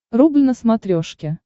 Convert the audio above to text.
рубль на смотрешке